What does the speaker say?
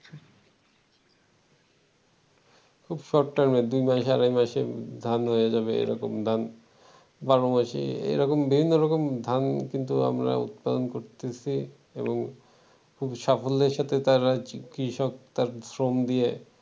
খুব শর্ট টাইমে দুই মাসে আড়াই মাসে ধান হয়ে যাবে এরকম ধান বারোমাসি এরকম বিভিন্ন রকম ধান কিন্তু আমরা উৎপাদন করতেছি এবং খুবই সাফল্যের সাথে তারা কৃষক তার শ্রম দিয়ে